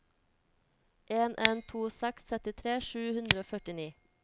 en en to seks trettitre sju hundre og førtini